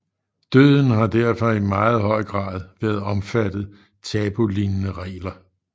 Døden har derfor i meget høj grad været omfattet tabulignende regler